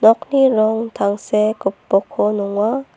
nokni rong tangsek gipokko nonga.